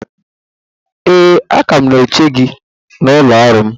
Ee, a ka m na-eche gị n’ụlọ ọrụ m